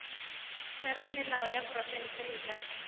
theramelao ya profense e ka